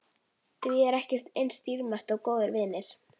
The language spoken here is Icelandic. Því ekkert er eins dýrmætt og góðir vinir.